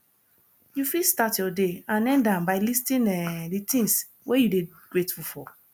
you fit start your day and end am by listing um di things wey you dey grateful for